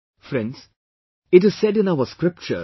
Friends, it is said in our scriptures